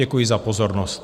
Děkuji za pozornost.